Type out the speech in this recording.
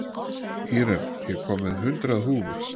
Íren, ég kom með hundrað húfur!